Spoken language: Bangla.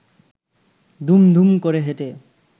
দুম দুম করে হেঁটে